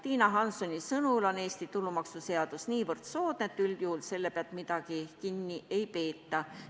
Tiina Hanssoni sõnul on Eesti tulumaksuseadus niivõrd soodne, et üldjuhul nende pealt midagi kinni ei peeta.